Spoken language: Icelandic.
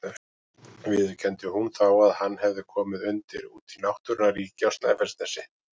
Viðurkenndi hún þá að hann hefði komið undir úti í náttúrunnar ríki á Snæfellsnesi.